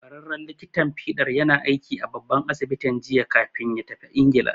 Ƙwararren likitan fiɗar yana aiki a babban asibitin jiya kafin ya tafi Ingila.